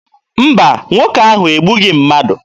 Mba, nwoke ahụ egbughị mmadụ.